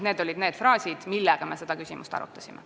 Need olid need fraasid, mille abil me seda küsimust arutasime.